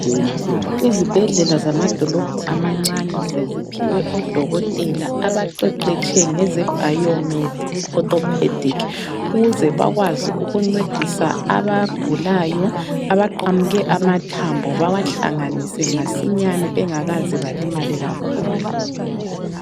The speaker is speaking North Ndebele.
Izibhedlela zamadolobho amancane seziphiwe odokotela abaqeqetshe ngeze Bio - med Orthopedic ukuze bakwazi ukuncedisa abagulayo abaqamuke amathambo bawahlanganise masinyane bengakaze balimale kakhulu.